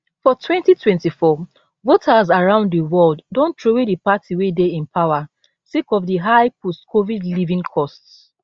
for 2024 voters around di world don throway di party wey dey in power sake of di high postcovid living costs